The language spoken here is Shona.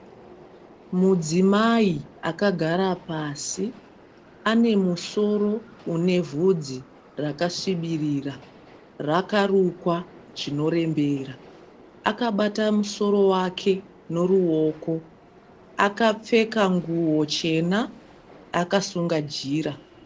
Mudzimai akagara pasi. Anemusoro unevhudzi rakasvibirira, rakarukwa zvinorembera. Akabata musoro wake noruwoko. Akapfeka nguwo chena, akasunga jira.